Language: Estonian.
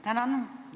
Tänan!